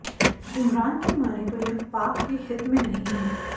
इमरान की मानें तो यह पाक के हित में नहीं है